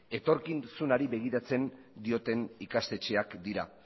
etorkizunari begiratzen dioten ikastetxeak dira